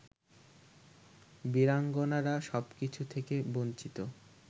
বীরাঙ্গনারা সবকিছু থেকে বঞ্চিত